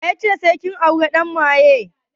Wa ya ce sai kin auri ɗan maye?